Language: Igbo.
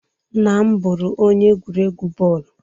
Nna m bụrụ onye egwuregwu bọọlụ.